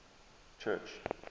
church